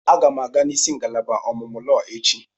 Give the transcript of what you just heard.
Aga m aga nisi ngalaba ọmụmụ lọọ echi.